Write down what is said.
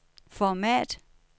format